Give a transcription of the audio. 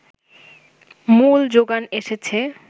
মূল জোগান এসেছে